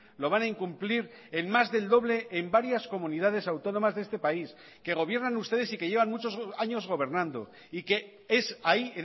lo van a incumplir en más del doble en varias comunidades autónomas de este país que gobiernan ustedes y que llevan muchos años gobernando y que es ahí